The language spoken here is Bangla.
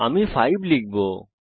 আমি এইবার 5 দেবো